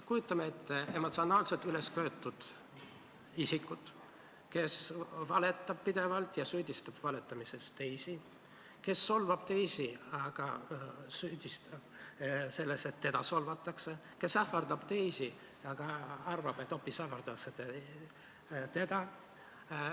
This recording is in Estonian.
Kujutame ette emotsionaalselt ülesköetud isikut, kes valetab pidevalt ja süüdistab valetamises teisi, kes solvab teisi, aga süüdistab neid selles, et teda solvatakse, kes ähvardab teisi, aga arvab, et hoopis teda ähvardatakse.